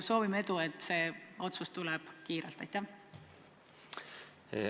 Soovime edu, et see otsus tuleks kiirelt!